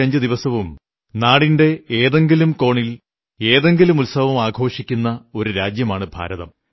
365 ദിവസവും നാടിന്റെ ഏതെങ്കിലും കോണിൽ ഏതെങ്കിലും ഉത്സവം ആഘോഷിക്കുന്ന ഒരു രാജ്യമാണ് ഭാരതം